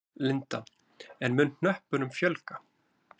Linda: En mun hnöppunum fjölga?